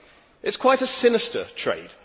It is quite a sinister trade.